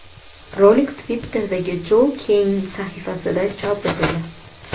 Rolik Twitter’dagi Joe Cain sahifasida chop etildi.